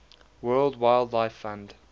world wildlife fund